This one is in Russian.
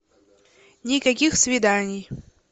никаких свиданий